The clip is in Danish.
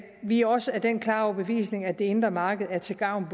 vi er også af den klare overbevisning at det indre marked er til gavn